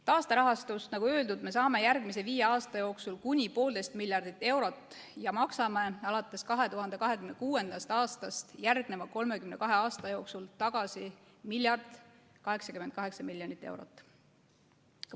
Taasterahastust, nagu öeldud, me saame järgmise viie aasta jooksul kuni poolteist miljardit eurot ja maksame alates 2026. aastast järgneva 32 aasta jooksul tagasi ühe miljardi ja 88 miljonit eurot.